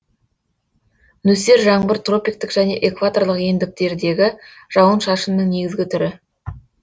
нөсер жаңбыр тропиктік және экваторлық ендіктердегі жауын шашынның негізгі түрі